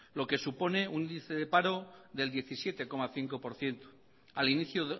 lo que supone un índice de paro del diecisiete coma cinco por ciento al inicio